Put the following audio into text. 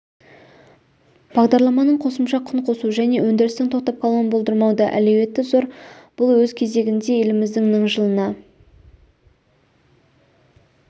бағдарламаның қосымша құн қосу және өндірістің тоқтап қалуын болдырмауда әлеуеті зор бұл өз кезегінде еліміздің ніңжылына